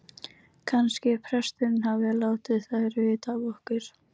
Kannski presturinn hafi látið þær vita af okkur.